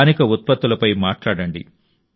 స్థానిక ఉత్పత్తులపై మాట్లాడండి